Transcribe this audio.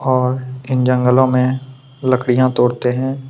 और इन जंगलो में लकड़ी तोड़ते है।